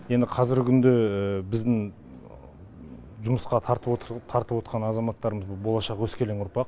енді қазіргі күнде біздің жұмысқа тартып отыр тартып отқан азаматтарымыз бұл болашақ өскелең ұрпақ